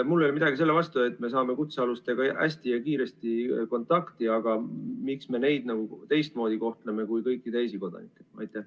Mul ei ole midagi selle vastu, et me saame kutsealustega hästi ja kiiresti kontakti, aga miks me neid nagu teistmoodi kohtleme kui kõiki teisi kodanikke?